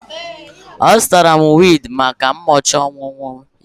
Azụtara m wig maka ụbọchị ọmụmụ ya